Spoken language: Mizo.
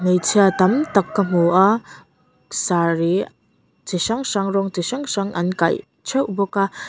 hmeichhia tam tak ka hmu a saree chi hrang hrang rawng chi hrang hrang an kaih theuh bawk a --